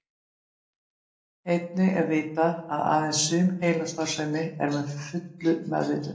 Einnig er vitað að aðeins sum heilastarfsemi er að fullu meðvituð.